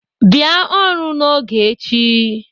Bịa ọrụ n'oge echi!